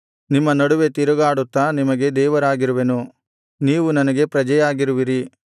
ನಿಮ್ಮ ನಡುವೆ ತಿರುಗಾಡುತ್ತಾ ನಿಮಗೆ ದೇವರಾಗಿರುವೆನು ನೀವು ನನಗೆ ಪ್ರಜೆಯಾಗಿರುವಿರಿ